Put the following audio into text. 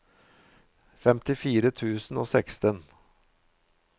femtifire tusen og seksten